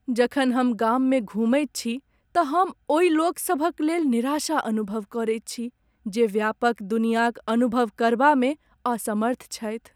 जखन हम गाममे घुमैत छी तऽ हम ओहि लोकसभक लेल निराशा अनुभव करैत छी जे व्यापक दुनियाक अनुभव करबामे असमर्थ छथि।